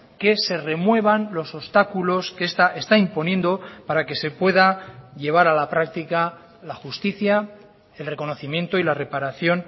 que se remuevan los obstáculos que esta está imponiendo para que se pueda llevar a la práctica la justicia el reconocimiento y la reparación